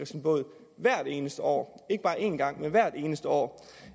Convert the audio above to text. sin båd hvert eneste år ikke bare en gang men hvert eneste år